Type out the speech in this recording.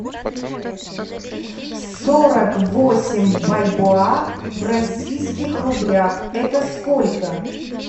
сорок восемь бальбоа в российских рублях это сколько